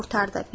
qurtardı.